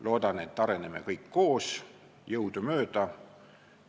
Loodan, et areneme kõik koos jõudumööda.